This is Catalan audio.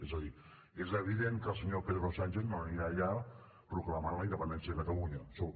és a dir és evident que el senyor pedro sánchez no anirà allà proclamant la independència de catalunya això